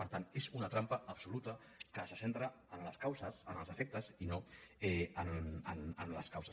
per tant és una trampa absoluta que se centra en els efectes i no en les causes